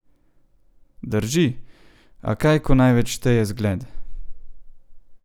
Drži, a kaj ko največ šteje zgled!